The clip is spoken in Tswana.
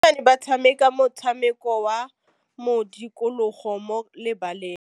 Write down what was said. Basimane ba tshameka motshameko wa modikologô mo lebaleng.